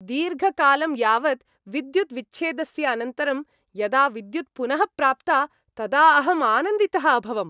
दीर्घकालं यावत् विद्युत् विच्छेदस्य अनन्तरं यदा विद्युत् पुनः प्राप्ता तदा अहं आनन्दितः अभवम्।